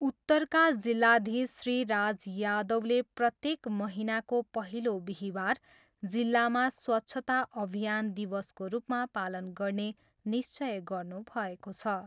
उत्तरका जिल्लाधीश श्री राज यादवले प्रत्येक महीनाको पहिलो बिहीबार जिल्लामा स्वच्छता अभियान दिवसको रूपमा पालन गर्ने निश्चय गर्नु भएको छ।